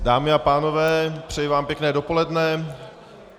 Dámy a pánové, přeji vám pěkné dopoledne.